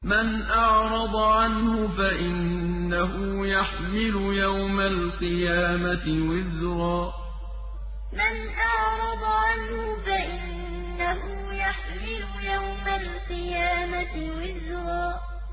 مَّنْ أَعْرَضَ عَنْهُ فَإِنَّهُ يَحْمِلُ يَوْمَ الْقِيَامَةِ وِزْرًا مَّنْ أَعْرَضَ عَنْهُ فَإِنَّهُ يَحْمِلُ يَوْمَ الْقِيَامَةِ وِزْرًا